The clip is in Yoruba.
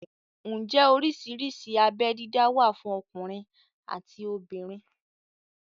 Ǹjẹ́ oríṣiríṣi abé dídá wà fún ọkùnrin àti obìnrin?